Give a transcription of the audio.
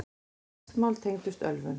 Flest mál tengdust ölvun.